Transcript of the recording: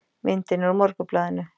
Myndin er úr Morgunblaðinu